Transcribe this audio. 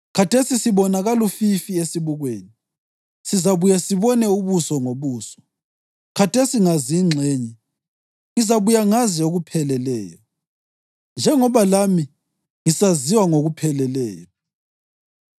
Khathesi sibona kalufifi esibukweni; sizabuye sibone ubuso ngobuso. Khathesi ngazi ingxenye; ngizabuye ngazi okupheleleyo, njengoba lami ngisaziwa ngokupheleleyo.